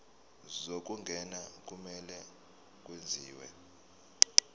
zokungena kumele kwenziwe